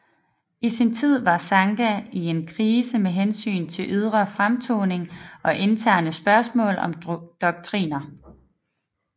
I sin tid var sangha i en krise med hensyn til ydre fremtoning og interne spørgsmål om doktriner